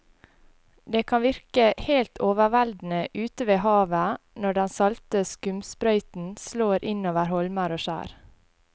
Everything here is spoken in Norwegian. Det kan virke helt overveldende ute ved havet når den salte skumsprøyten slår innover holmer og skjær.